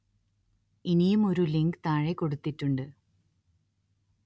ഇനിയും ഒരു ലിങ്ക് താഴെ കൊടുത്തിട്ടുണ്ട്